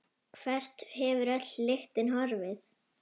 Hvert hefur öll lyktin horfið?